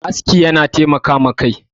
aski yana taimaka wa Kai